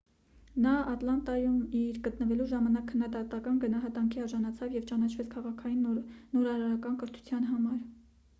նա ատլանտայում իր գտնվելու ժամանակ քննադատական գնահատանքի արժանացավ և ճանաչվեց քաղաքային նորարարական կրթության համար